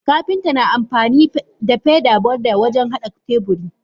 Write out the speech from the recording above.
Kapinta na amfanida feather borde wajen hada teburi.